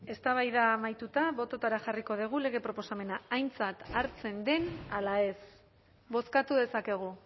eztabaida amaituta bototara jarriko dugu lege proposamena aintzat hartzen den ala ez bozkatu dezakegu